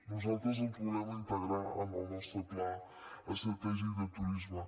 nosaltres els volem integrar en el nostre pla estratègic de turisme